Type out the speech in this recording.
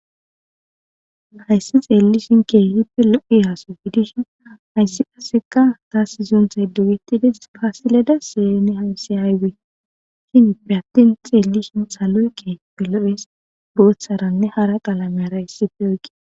Haysa xeelishin keehipe lo'iya gidishin haysi kaseka tasi suntay dogetides gasile deseye haysi aybe hinipe attin xeelishin saloy keehipe lo'es bootharane hara qalamera issipe oyqides.